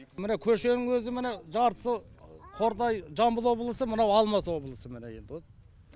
міне көшенің өзі міне жартысы қордай жамбыл облысы мынау алматы облысы міне енді вот